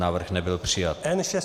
Návrh nebyl přijat.